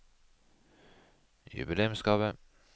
jubileumsgave